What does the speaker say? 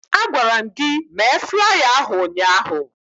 Agwara m gị mee flaya ahụ ụnyaahụ!